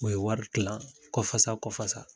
O ye wari kilan kɔfasa kɔfasa.